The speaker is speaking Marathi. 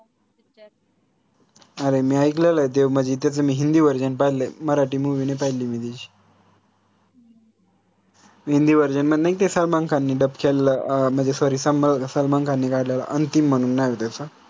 अरे मी अकलेलंय ते म्हजे त्याच मी हिंदीversion पाहिलंय मराठी movie नाई पाहिली मी त्याची हिंदीversion मध्ये नाई का सलमान खाननी dubbed केलेलं अह म्हनजे sorry समा सलमान खाननी गायलेलं Antim म्हनून नाव आय त्याच